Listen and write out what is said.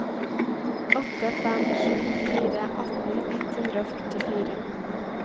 åtte fem sju fire atten ett hundre og førtifire